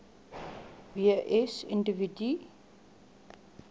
w s individue